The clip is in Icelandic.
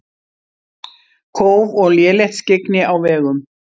Kóf og lélegt skyggni á vegum